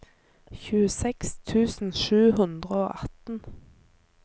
tjueseks tusen sju hundre og atten